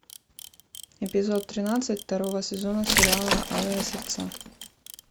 эпизод тринадцать второго сезона сериала алые сердца